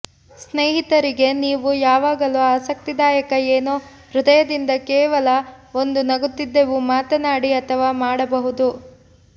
ಸ್ನೇಹಿತರಿಗೆ ನೀವು ಯಾವಾಗಲೂ ಆಸಕ್ತಿದಾಯಕ ಏನೋ ಹೃದಯದಿಂದ ಕೇವಲ ಒಂದು ನಗುತ್ತಿದ್ದೆವು ಮಾತನಾಡಿ ಅಥವಾ ಮಾಡಬಹುದು